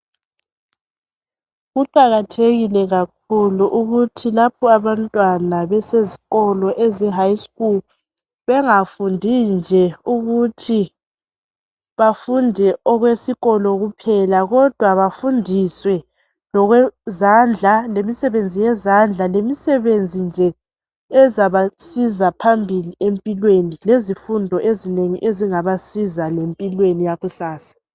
kuqakathekile kakhulu ukuthi lapho abantwana besezikolo eze high school bengafundi nje ukuthi bafunde okwesikolo kuphela kodwa abafundiswe lokwezandla ,lemisebenzi yezandla lemisebenzi nje ezabasiza phambili empilweni lezifundo ezinengi ezingabasiza lempilweni yakusasa